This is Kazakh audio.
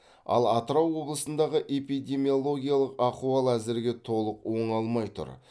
ал атырау облысындағы эпидемиологиялық ахуал әзірге толық оңалмай тұр